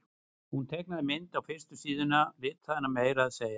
Hún teiknaði mynd á fyrstu síðuna og litaði hana meira að segja.